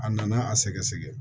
A nana a sɛgɛsɛgɛ